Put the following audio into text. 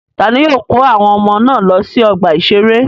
Ta ni yóò kó àwọn ọmọ náà lọ sí ọgbà-ìṣeré?